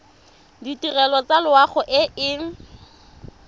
ditirelo tsa loago e e